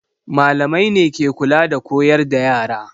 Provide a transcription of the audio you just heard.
Malamai ne ke kula da koyar da yara.